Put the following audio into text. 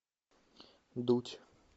дудь